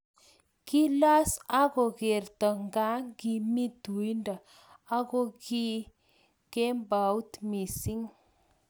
Kilos akokerto ngakimi tuindo akokio kembout missing